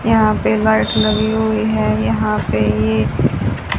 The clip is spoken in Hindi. यहां पे लाइट लगी हुई है यहां पे ये--